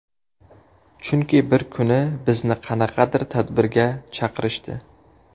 Chunki bir kuni bizni qanaqadir tadbirga chaqirishdi.